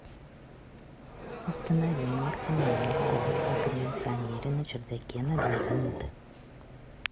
установи на максимальную скорость на кондиционере на чердаке на две минуты